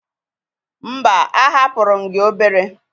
Mba, ahapụrụ m gi obere.